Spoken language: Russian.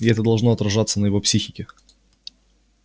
и это должно отражаться на его психике